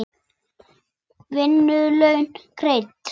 Vinnu laun greidd.